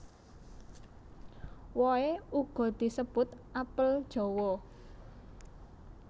Wohe uga disebut apel jawa